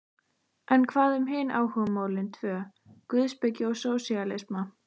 En hvað um hin áhugamálin tvö: guðspeki og sósíalisma?